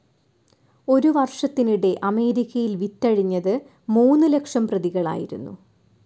ഒരുവർഷത്തിനിടെ അമേരിക്കയിൽ വിറ്റഴിഞ്ഞത് മൂന്നു ലക്ഷം പ്രതികളായിരുന്നു.